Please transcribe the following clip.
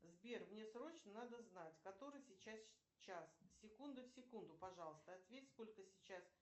сбер мне срочно надо знать который сейчас час секунда в секунду пожалуйста ответь сколько сейчас